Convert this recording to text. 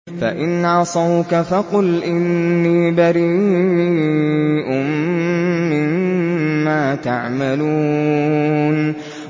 فَإِنْ عَصَوْكَ فَقُلْ إِنِّي بَرِيءٌ مِّمَّا تَعْمَلُونَ